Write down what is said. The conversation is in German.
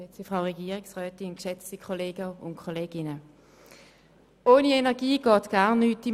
Ohne Energie geht im Alltag gar nichts.